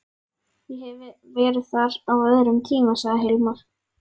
Ég hef verið þar á öðrum tíma, sagði Hilmar.